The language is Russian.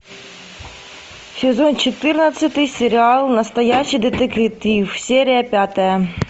сезон четырнадцатый сериал настоящий детектив серия пятая